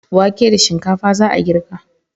Wake da shinkfa za a girka.